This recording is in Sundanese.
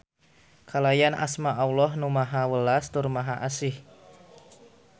Kalayan asma Alloh Nu Maha Welas tur Maha Asih.